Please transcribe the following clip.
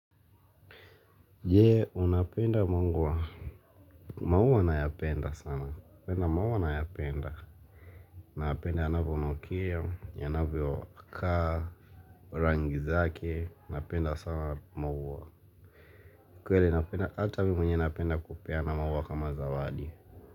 Jee, unapenda mungwa, maua nayapenda sana, unapenda mauwa nayapenda. Naapenda yanavyonukia, yanavyokaa, rangi zake, napenda sana maua. Kweli naapenda, ata mi mwenyewe naapenda kupeana mauwa kama zawadi.